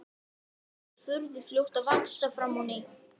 En tekur furðu fljótt að vaxa fram á ný.